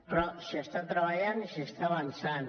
però s’hi està treballant i s’hi està avançant